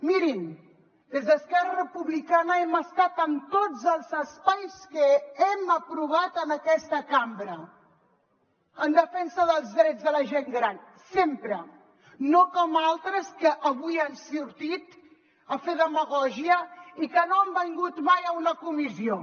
mirin des d’esquerra republicana hem estat en tots els espais que hem aprovat en aquesta cambra en defensa dels drets de la gent gran sempre no com altres que avui han sortit a fer demagògia i que no han vingut mai a una comissió